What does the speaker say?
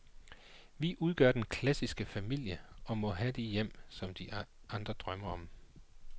Vi udgør den klassiske familie og må have de hjem, som de andre drømmer om.